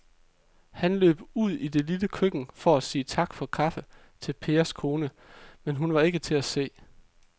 Han løb ud i det lille køkken for at sige tak for kaffe til Pers kone, men hun var ikke til at se.